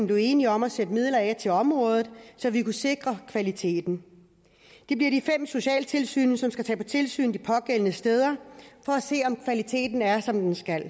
blev enige om at sætte midler af til området så vi kunne sikre kvaliteten det bliver de fem socialtilsyn som skal tage på tilsyn de pågældende steder for at se om kvaliteten er som den skal